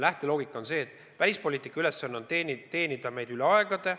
Lähteloogika on see, et välispoliitika ülesanne on teenida meid üle aegade.